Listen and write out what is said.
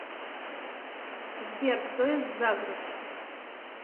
сбер кто из загреб